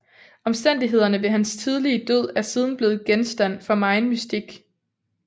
Omstændighederne ved hans tidlige død er siden blev genstand for megen mystik